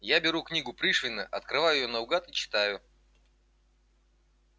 я беру книгу пришвина открываю её наугад и читаю